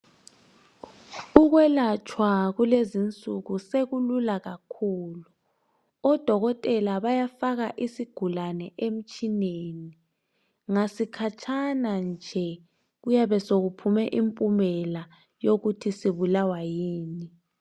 Ukwelatshwa kulezinsuku sekulula kakhulu odokotela bayafaka isigulane emtshineni ngasi khatshana nje kuyabe sokuphume impumela yokuthi sibulalwa yini